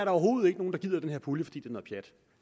overhovedet ikke nogen der gider den her pulje fordi det noget pjat